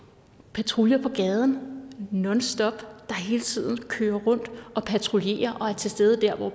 patruljer på gaden nonstop der hele tiden kører rundt og patruljerer og er til stede der hvor